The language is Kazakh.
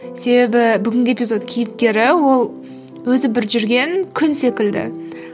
себебі бүгінгі эпизод кейіпкері ол өзі бір жүрген күн секілді